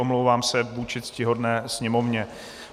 Omlouvám se vůči ctihodné Sněmovně.